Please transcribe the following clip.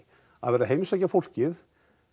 að vera að heimsækja fólkið